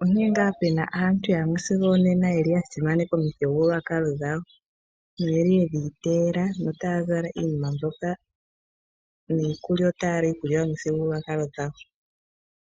onkene ngaa puna aantu yamwe sigo onena yeli ya simaneka omithigululwakalo dhawo, noye li yedhi iteela notaya zala iinima mbyoka, niikulya otaya li iikulya yomithigululwakalo dhawo.